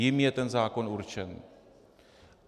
Jim je ten zákon určen.